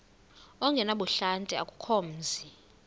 ongenabuhlanti akukho mzi